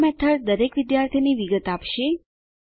આ મેથડ દરેક વિદ્યાર્થીની વિગત આપશે